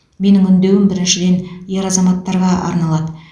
менің үндеуім біріншіден ер азаматтарға арналады